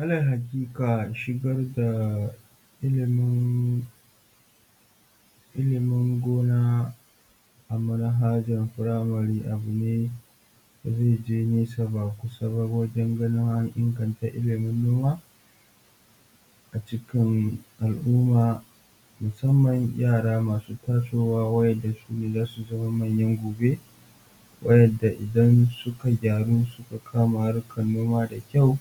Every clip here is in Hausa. Alal hakika shigar da ilimin ilimin gona a manhajar primary abune da zai je nesa ba kusa wajen ganin an inganta ilimin noma a cikin alumma musamman yara masu tasowa wayanda zasu zama manyan gobe wayanda idan suka kama harkan nomanda kyau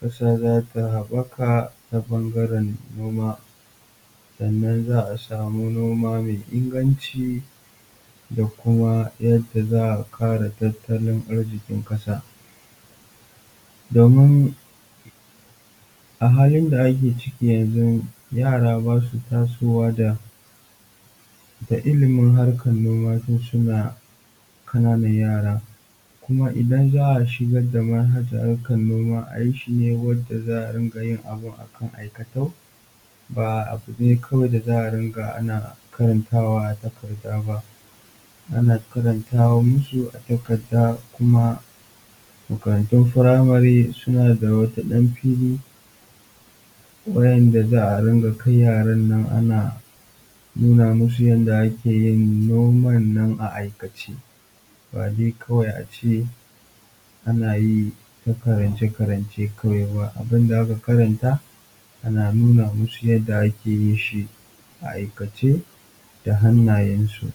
kasa zata habaka ta bangaren noma sannan zaa samu noma mai inganci da kuma yadda zaa kara tattalin arzikin kasa domin a halin da ake ciki yanzu yara basu tasowa da ilimin harkan noma tun suna kanana yara kuma idan zaa shigar da manhajar harkan noma a yi shi ne wanda za'a ringa yin abun akan aikatau ba a takarda ba, ana karanta musu a takarda kuma makarantun firamari suna da wata dan fili wayanda zaa dinga kai yaran nan ana nuna musu yanda akeyin noman nan a aikace bawai kawai ace anayi karance karance kawai ba, abunda aka karanta ana nuna musu yanda akeyi a aikace da hannayensu.